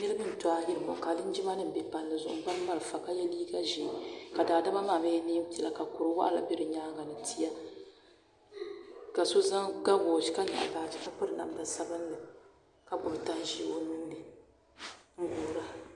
Niriba n-to ayirimo ka linjimanima be palli zuɣu n-gbubi marafa ka ye liiga ʒee ka daadama maa mi ye neem'piɛla ka kuriwaɣila be bɛ nyaaŋa ni tia ka so ga woochi ka nyaɣi baaji ka piri namda sabinli ka gbubi tanʒee o nuu ni n-guura.